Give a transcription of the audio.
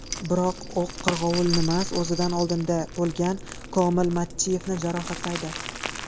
Biroq, o‘q qirg‘ovulnimas, o‘zidan oldinda bo‘lgan Komil Mattiyevni jarohatlaydi.